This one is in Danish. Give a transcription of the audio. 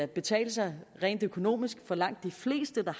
betale sig rent økonomisk for langt de fleste der